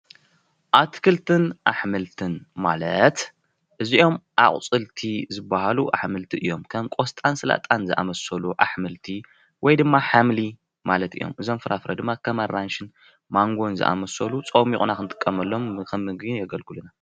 አትክልትን አሕምልትን ማለት እዚኦም አቁፅልቲ ዝበሃሉ አሕምልቲ እዩም፡፡ ከም ቆስጣን ስላጣን ዝአመስሉ አሕምልቲ ወይ ድማ ሓምሊ ማለት እዩም ፡፡ እዞም ፍራፍረ ድማ ከም አራንሽን ማነጎ ዝአመስሉ ፀሚቁና ክንጥቀመሉ ከም ምግቢ የገልግሉና፡፡